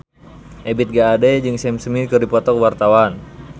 Ebith G. Ade jeung Sam Smith keur dipoto ku wartawan